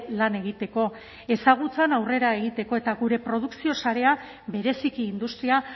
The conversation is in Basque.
lan egiteko ezagutzan aurrera egiteko eta gure produkzio sarea bereziki industria